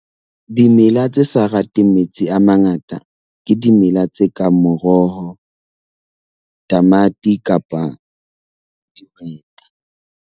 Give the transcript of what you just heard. Dimela tse sa rateng metsi a mangata ke dimela tse kang moroho, tamati kapa dihwete.